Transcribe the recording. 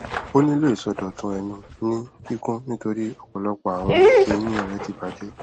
o nilo isọdọtun ẹnu ni kikun nitori ọpọlọpọ awọn eyin re ti bajẹ